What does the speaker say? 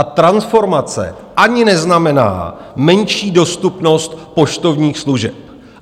A transformace ani neznamená menší dostupnost poštovních služeb.